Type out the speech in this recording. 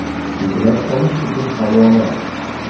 Yuklab olish uchun havola: .